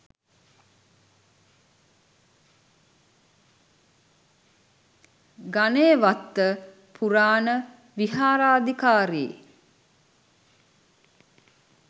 ගනේවත්ත පුරාණ විහාරාධිකාරී,